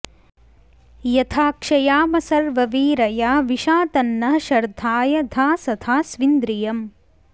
यथा॒ क्षया॑म॒ सर्व॑वीरया वि॒शा तन्नः॒ शर्धा॑य धासथा॒ स्वि॑न्द्रि॒यम्